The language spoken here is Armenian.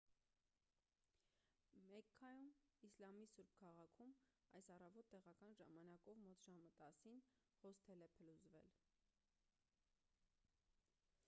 մեքքայում իսլամի սուրբ քաղաքում այս առավոտ տեղական ժամանակով մոտ ժամը 10-ին հոսթել է փլուզվել